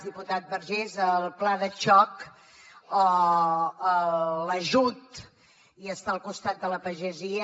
diputat vergés el pla de xoc o l’ajut i estar al costat de la pagesia